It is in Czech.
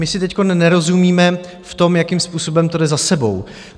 My si teď nerozumíme v tom, jakým způsobem to jde za sebou.